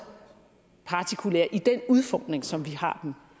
partikulære i den udformning som vi har dem